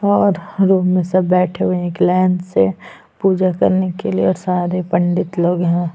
और घरों में सब बैठे हुए है एक लाइन से पूजा करने के लिए सारे पंडित लोग यहाँ--